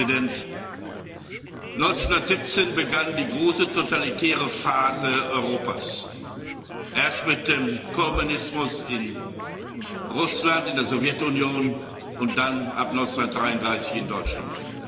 Herr Ratspräsident! 1917 begann die große totalitäre Phase Europas. Erst mit dem Kommunismus in Russland, in der Sowjetunion, und dann ab 1933 in Deutschland.